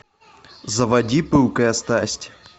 заводи пылкая страсть